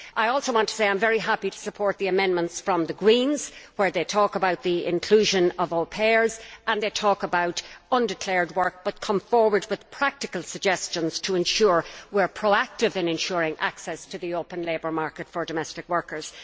I also want to say that I am very happy to support the amendments from the Green Group where they talk about the inclusion of au pairs and undeclared work, but come forward with practical suggestions to ensure we are proactive in ensuring access to the open labour market for domestic workers.